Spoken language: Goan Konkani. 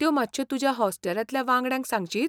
त्यो मातश्यो तुज्या हॉस्टेलांतल्या वांगड्यांक सांगशीत?